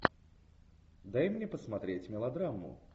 дай мне посмотреть мелодраму